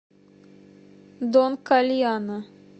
дон кальяно